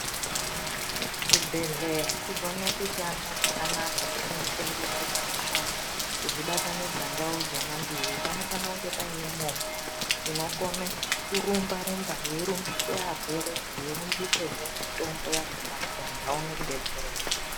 Kuti chibhedhlera chigone kushanda zvakanaka nekunotengeswerwa mishonga kuzvibatanidza ndau dzona mbiri panofana kunge paine movha inokona kurumba rumba yeirumbisa varwere yeirumbisa zvee mitombo yakona kuti anhu aone kudetserwa .